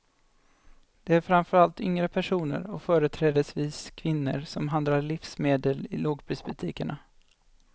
Det är framför allt yngre personer och företrädesvis kvinnor som handlar livsmedel i lågprisbutikerna.